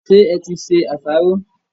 Ṣé e ti se àsáró?